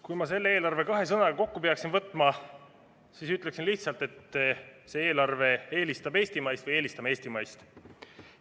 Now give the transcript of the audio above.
Kui ma selle eelarve kahe sõnaga kokku peaksin võtma, siis ütleksin lihtsalt, et see eelarve eelistab eestimaist või me eelistame eestimaist.